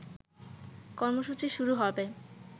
কর্মসূচি শুরু হবে